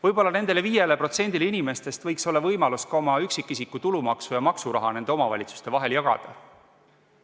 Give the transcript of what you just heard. Võib-olla nendel 5%-l inimestest võiks olla võimalus ka oma üksikisiku tulumaksu ja maksuraha nende omavalitsuste vahel jagada.